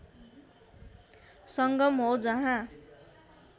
संगम हो जहाँ